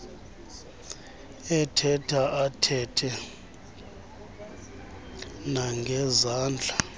ethetha athethe nangezandla